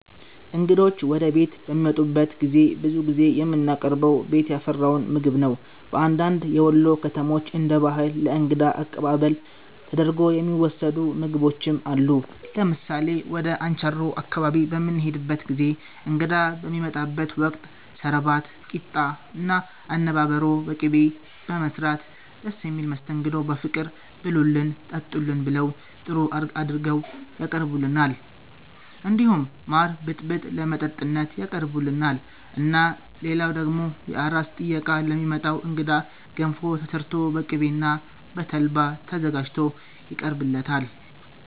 እንግዶች ወደ ቤት በሚመጡበት ጊዜ ብዙ ጊዜ የምናቀርበው ቤት ያፈራውን ምግብ ነው በአንዳንድ የወሎ ከተሞች እንደ ባህል ለ እንግዳ አቀባበል ተደርጎ የሚወሰዱ ምግቦችም አሉ ለምሳሌ ወደ አንቻሮ አካባቢ በምንሄድበት ጊዜ እንግዳ በሚመጣበት ወቅት ሰረባት ቂጣ እና አነባበሮ በቅቤ በመስራት ደስ በሚል መስተንግዶ በፍቅር ብሉልን ጠጡልን ብለው ጥሩ አርገው ያቀርቡልናል እንዲሁም ማር ብጥብጥ ለመጠጥነት ያቀርቡልናል እና ልላው ደግሞ የአራስ ጥየቃ ለሚመጣ እንግዳ ገንፎ ተሰርቶ በቅቤ እና በተልባ ተዘጋጅቶ ይቀርብለታል